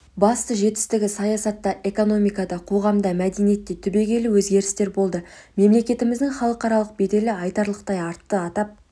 басты жетістігі саясатта экономикада қоғамда мәдениетте түбегейлі өзгерістер болды мемлекетіміздің халықаралық беделі айтарлықтай артты атап